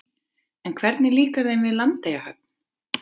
En hvernig líkar þeim við Landeyjahöfn?